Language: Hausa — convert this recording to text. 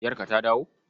Yarka ta dawo?